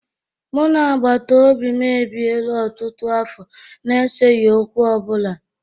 Mụ na agbatobi m ebiela ọtụtụ afọ na-eseghi okwu ọ bụla.